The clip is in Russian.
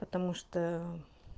потому что